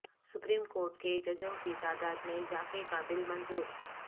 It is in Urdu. سپریم کورٹ کے ججوں کی تعداد میں اضافہ کا بل منظور